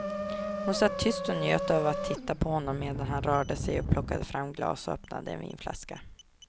Hon satt tyst och njöt av att titta på honom medan han rörde sig och plockade fram glas och öppnade en vinflaska.